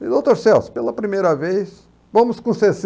Doutor Celso, pela primeira vez, vamos com